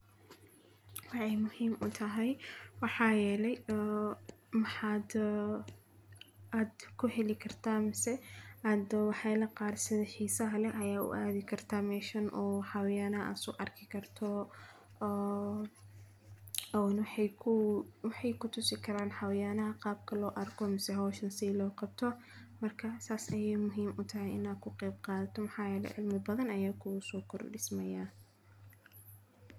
Waxay muhiim u tahay waxaa yeelay oo maxaad ku heli kartaa mise aada waxay la qaatay xiisaha leh ayaa u aadi kartaa meeshan oo haween ah u arki karto oo ay ku tu si karaan xayaanaha qaabka loo arko mise howsha si loo qabto markaa saas ayey muhiim u tahay inaan ku qayb qaadato maxaa yeelay cilmi badan ayaa kuu soo kordhisayaa.